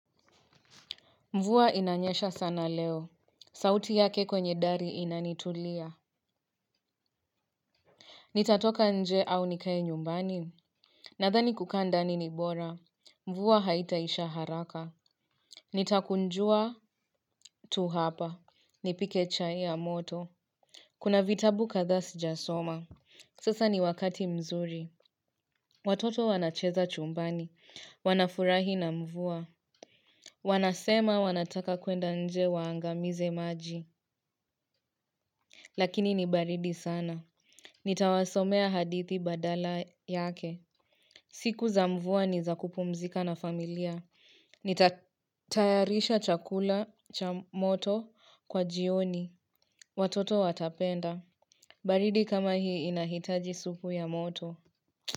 Mvua inanyesha sana leo. Sauti yake kwenye dari inanitulia. Nitatoka nje au nikae nyumbani. Nadhani kukaa ndani ni bora. Mvua haitaisha haraka. Nitakunjua tu hapa. Nipike chai ya moto. Kuna vitabukadhaa sijasoma. Sasa ni wakati mzuri. Watoto wanacheza chumbani. Wanafurahi na mvua. Wanasema wanataka kwenda nje waangamize maji. Lakini ni baridi sana. Nitawasomea hadithi badala yake. Siku za mvua ni za kupumzika na familia. Nitatayarisha chakula cha moto kwa jioni. Watoto watapenda. Baridi kama hii inahitaji supu ya moto.